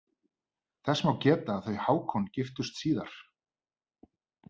Þess má geta að þau Hákon giftust síðar.